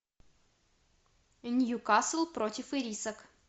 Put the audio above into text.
ньюкасл против ирисок